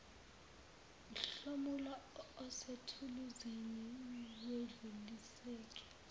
mhlomulo osethuluzini awedluliseki